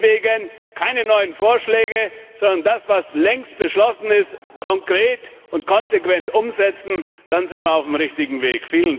Deswegen keine neuen Vorschläge, sondern das, was längst beschlossen ist, konkret und konsequent umsetzen, dann sind wir auf dem richtigen Weg.